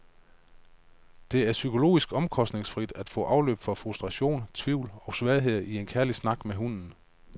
Det er psykologisk omkostningsfrit at få afløb for frustrationer, tvivl og svagheder i en kærlig snak med hunden.